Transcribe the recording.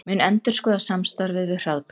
Mun endurskoða samstarfið við Hraðbraut